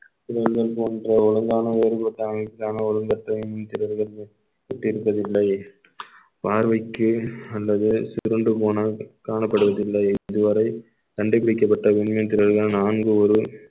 போன்ற ஒழுங்கான வேறுபட்ட அமைப்புக்கான ஒழுங்கற்ற மின்மீன் திரள்கள் பார்வைக்கு அல்லது சுருண்டு போன காணப்படுவதில்லை இதுவரை கண்டுபிடிக்கப்பட்ட மின்மீன் திரள்கள் நான்கு ஒரு